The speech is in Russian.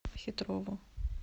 хитрову